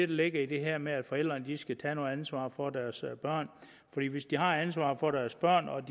ligger i det her med at forældrene skal tage noget ansvar for deres børn hvis de har ansvaret for deres børn og